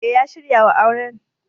E, ya shirya wa auren.